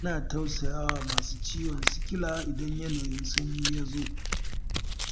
Ina tausayawa masu ciwon sikila idan yanayin sanyi ya zo.